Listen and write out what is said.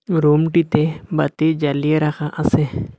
রুমটিতে বাতি জ্বালিয়ে রাখা আসে।